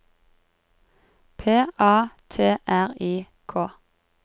P A T R I K